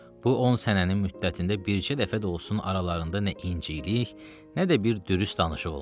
Bu 10 sənənin müddətində bircə dəfə də olsun aralarında nə incilik, nə də bir dürüst danışıq olmuşdu.